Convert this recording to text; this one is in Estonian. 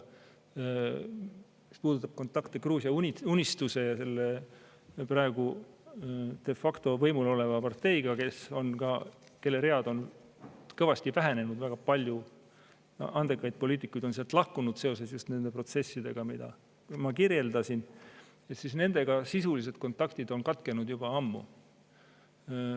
Mis puudutab kontakte Gruusia Unistusega, selle praegu de facto võimul oleva parteiga, kelle read on kõvasti vähenenud – väga palju andekaid poliitikuid on sealt lahkunud seoses nende protsessidega, mida ma kirjeldasin –, siis sisulised kontaktid nendega on katkenud juba ammu.